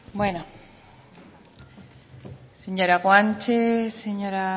bueno señora guanche señora